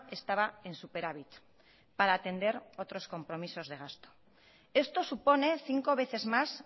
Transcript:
estaba en superávit para atender otros compromisos de gasto esto supone cinco veces más